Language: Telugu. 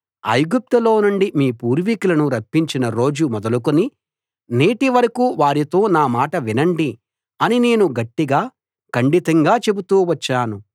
ఐగుప్తులో నుండి మీ పూర్వికులను రప్పించిన రోజు మొదలుకుని నేటివరకూ వారితో నా మాట వినండి అని నేను గట్టిగా ఖండితంగా చెబుతూ వచ్చాను